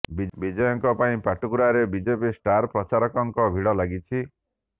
ବିଜୟଙ୍କ ପାଇଁ ପାଟକୁରାରେ ବିଜେପି ଷ୍ଟାର ପ୍ରଚାରକଙ୍କ ଭିଡ଼ ଲାଗିଛି